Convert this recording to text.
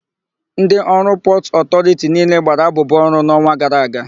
Ndị ọrụ Naịjiria Pọtụ Ọtọriti niile gbara abụbụ ọrụ n'ọnwa gara aga.